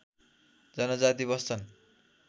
जनजाति बस्छन्